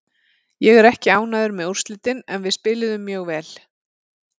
Ég er ekki ánægður með úrslitin en við spiluðum mjög vel.